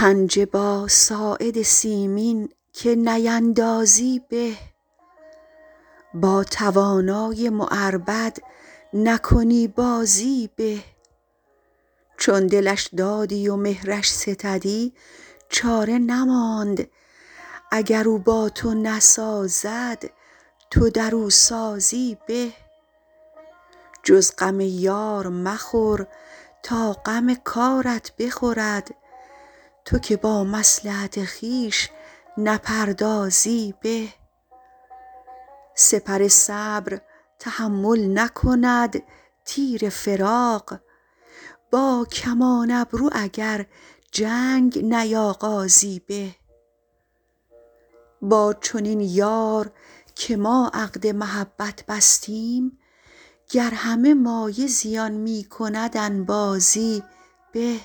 پنجه با ساعد سیمین که نیندازی به با توانای معربد نکنی بازی به چون دلش دادی و مهرش ستدی چاره نماند اگر او با تو نسازد تو در او سازی به جز غم یار مخور تا غم کارت بخورد تو که با مصلحت خویش نپردازی به سپر صبر تحمل نکند تیر فراق با کمان ابرو اگر جنگ نیاغازی به با چنین یار که ما عقد محبت بستیم گر همه مایه زیان می کند انبازی به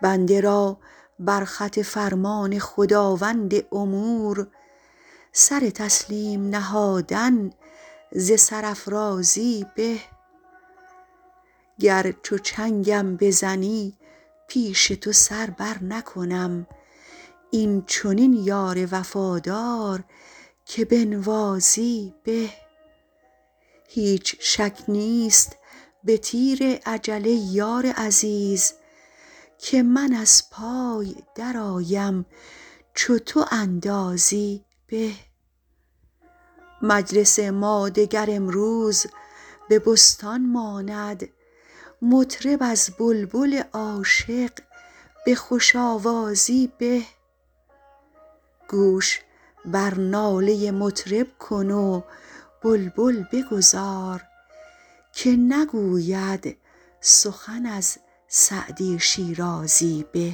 بنده را بر خط فرمان خداوند امور سر تسلیم نهادن ز سرافرازی به گر چو چنگم بزنی پیش تو سر برنکنم این چنین یار وفادار که بنوازی به هیچ شک نیست به تیر اجل ای یار عزیز که من از پای درآیم چو تو اندازی به مجلس ما دگر امروز به بستان ماند مطرب از بلبل عاشق به خوش آوازی به گوش بر ناله مطرب کن و بلبل بگذار که نگوید سخن از سعدی شیرازی به